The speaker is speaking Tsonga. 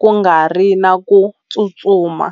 ku nga ri na ku tsutsuma.